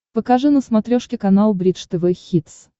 покажи на смотрешке канал бридж тв хитс